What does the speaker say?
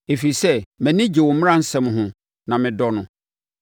ɛfiri sɛ mʼani gye wo mmaransɛm ho na medɔ no.